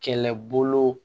Kɛlɛbolo